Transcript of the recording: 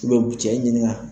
o bɛ cɛ ɲininga,